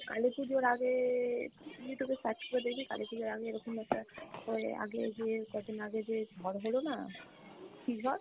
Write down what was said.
কালী পূজোর আগে Youtube এ search করে দেখবি কালীপূজোর আগে এরকম একটা ওই আগে গিয়ে কয়দিন আগে যে ঝড় হলো না, কি ঝড়?